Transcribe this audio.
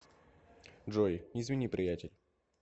джой извини приятель